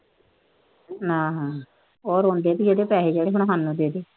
ਉਹ ਰੋਂਦੀ ਪਈ ਆ ਉਹਦੇ ਪੈਸੇ ਜਿਹੜੇ ਖਾਂਦਾ ਬਹਿ ਕੇ।